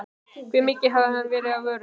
Hve mikið hafi verið af vörunni?